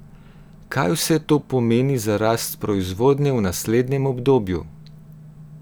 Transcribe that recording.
Kaj vse to pomeni za rast proizvodnje v naslednjem obdobju?